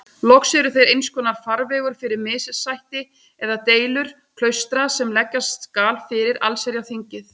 Loks eru þeir einskonar farvegur fyrir missætti eða deilur klaustra sem leggja skal fyrir allsherjarþingið.